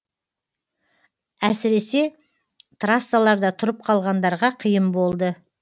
әсіресе трассаларда тұрып қалғандарға қиын болды